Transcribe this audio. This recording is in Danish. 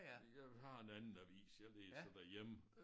Jeg har en anden avis jeg læser derhjemme